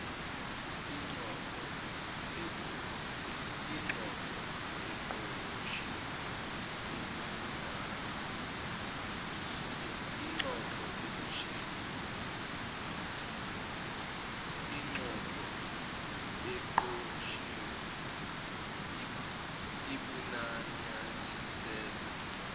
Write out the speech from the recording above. ingxoxo eqoshiwe obunanyathiselwe